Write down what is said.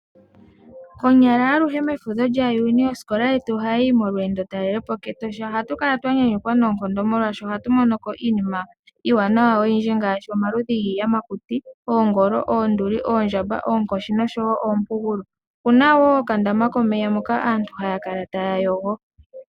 Konyala aluhe mefudho lyaJuni osikola yetu ohayi yi molweendotalelepo kEtosha ohatu kala twa nyanyukwa noonkondo molwashoka oha tu monoko iinina iiwanawa oyindji ngaashi omaludhi giiyamakuti oonduli, oondjamba, oonkoshi noshowo oompugulu omu na wo okandama komeya moka aantu haya kala taya yogo.